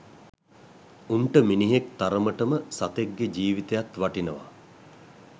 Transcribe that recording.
උන්ට මිනිහෙක් තරමටම සතෙක් ගේ ජීවිතයත් වටිනවා